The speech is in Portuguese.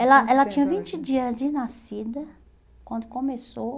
Ela ela tinha vinte dias de nascida, quando começou.